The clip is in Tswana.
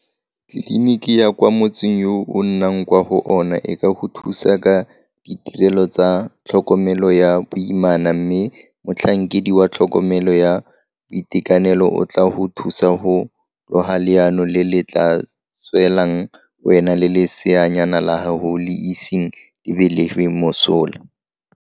Tleliniki ya kwa motseng yo o nnang kwa go ona e ka go thusa ka ditirelo tsa tlhokomelo ya boimana mme motlhankedi wa tlhokomelo ya boitekanelo o tla go thusa go loga leano le le tla tswelang wena le leseanyana la gago le iseng le belegwe mosola.